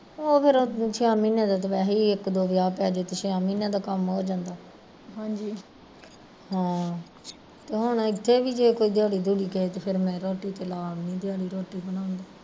ਆਹੋ ਫਿਰ ਛੇਂਆ ਮਹੀਨਿਆ ਦਾ ਤੇ ਵੈਸੇ ਈ ਇੱਕ ਦੋ ਵਿਆਹ ਪੈਜੇ ਤੇ ਛੇਂਆ ਮਹੀਨਿਆ ਦਾ ਕੰਮ ਹੋ ਜਾਂਦਾ ਹਾਂ ਤੇ ਹੁਣ ਇੱਥੇ ਵੀ ਜੇ ਕੋਈ ਦਿਹਾੜੀ ਦੁਹੜੀ ਕਿਸੇ ਦੇ ਫੇਰ ਮੈਂ ਰੋਟੀ ਤੇ ਲਾ ਆਉਂਦੀ ਦਿਹਾੜੀ ਰੋਟੀ ਬਣਾਉਣ ਤੇ